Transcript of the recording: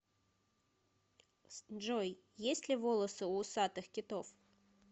джой есть ли волосы у усатых китов